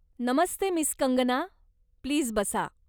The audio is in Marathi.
नमस्ते मिस कंगना, प्लीज बसा.